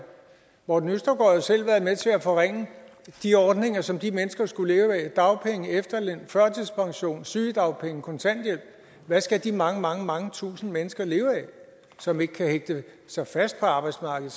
morten østergaard selv været med til at forringe de ordninger som de mennesker skulle leve af dagpenge efterløn førtidspension sygedagpenge kontanthjælp hvad skal de mange mange mange tusind mennesker leve af som ikke kan hægte sig fast på arbejdsmarkedet